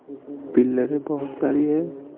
पिल्लरें बहुत सारी है।